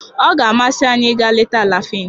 Ọ ga-amasị anyị ịga leta Alafịn